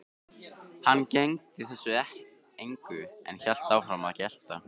Hann gegndi þessu engu en hélt áfram að gelta.